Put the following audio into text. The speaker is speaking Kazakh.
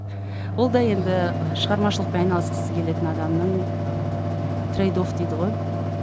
ол да енді шығармашылықпен айналысқысы келетін адамның ыыы жаңағы трейд офф дейді ғой мхм